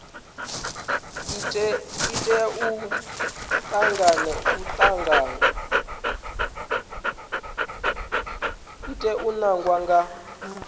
i tea u ḓadzwa nga